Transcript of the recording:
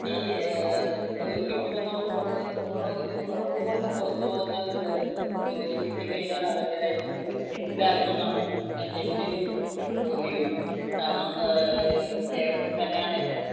ഏർ ജോലി കിട്ടുമെന്നുകൊണ്ടു ഒരു ഉറപ്പ് കൊണ്ട് പുറത്തു പോകുന്ന പിള്ളേർക്ക് ജോലി കിട്ടി കഴിഞ്ഞാൽ അവരുടെ ലൈഫ് സെറ്റില് ആകുമെന്നാണ് എന്റെ ഒരു നിഗമനം കാരണം ഏർ കേരളത്തിൽ തന്നെയാണെങ്കിൽ,